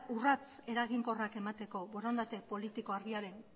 urrats eraginkorrak emateko borondate politiko argiaren